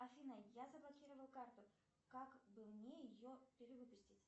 афина я заблокировала карту как бы мне ее перевыпустить